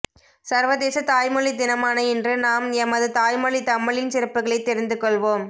சர்வதேச தாய்மொழி தினமான இன்று நாம் எமது தாய்மொழி தமிழின் சிறப்புகளை தெரிந்து கொள்வோம்